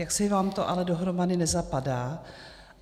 Jaksi vám to ale dohromady nezapadá.